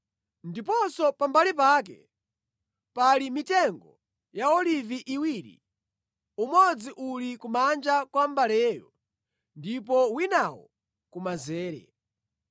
Ndiponso pambali pake pali mitengo ya olivi iwiri, umodzi uli kumanja kwa mbaleyo ndipo winawo kumanzere.”